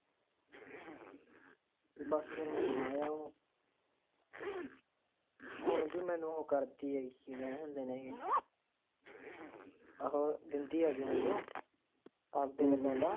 ਹੋਰ ਦਿੰਦੀ ਹੇਗੀ ਮੈਨੂੰ ਆਪਦੇ ਵਲੋਂ ਤਾ